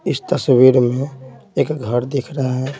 इस तस्वीर में एक घर दिख रहा है।